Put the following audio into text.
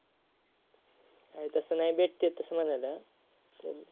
नाही तसं नाही भेटतात तसं म्हणायला पण.